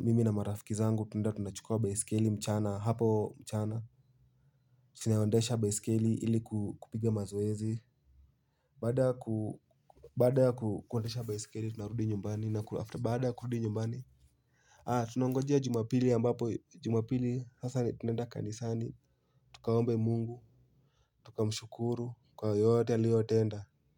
mimi na marafiki zangu tunenda tunachukua baisikeli mchana hapo mchana tunaondesha baisikeli ili kupiga mazoezi. Bada kuondesha baisikeli tunarudi nyumbani na kulafta bada kurudi nyumbani. Haa tunangojea jumabili ambapo jumabili sasa ni tunenda kanisani. Tukaombe mungu. Tukamshukuru kwa yote aliotenda.